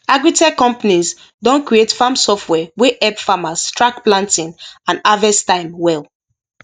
agritech companies don create farm software wey help farmers track planting and harvest time well